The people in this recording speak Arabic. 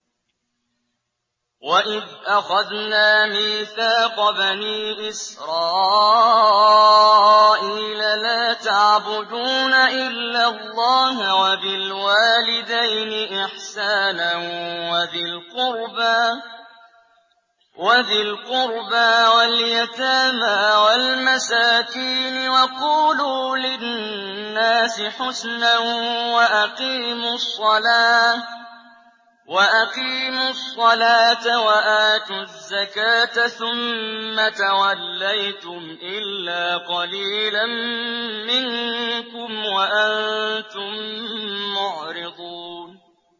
وَإِذْ أَخَذْنَا مِيثَاقَ بَنِي إِسْرَائِيلَ لَا تَعْبُدُونَ إِلَّا اللَّهَ وَبِالْوَالِدَيْنِ إِحْسَانًا وَذِي الْقُرْبَىٰ وَالْيَتَامَىٰ وَالْمَسَاكِينِ وَقُولُوا لِلنَّاسِ حُسْنًا وَأَقِيمُوا الصَّلَاةَ وَآتُوا الزَّكَاةَ ثُمَّ تَوَلَّيْتُمْ إِلَّا قَلِيلًا مِّنكُمْ وَأَنتُم مُّعْرِضُونَ